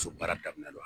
So baara daminɛnna